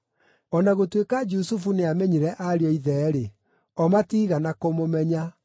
O na gũtuĩka Jusufu nĩamenyire ariũ a ithe-rĩ, o matiigana kũmũmenya.